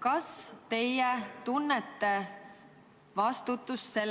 kas te siis tunnete selle eest vastutust?